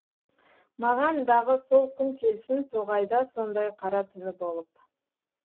маған дағы сол күн келсін тоғайда сондай қара түні болып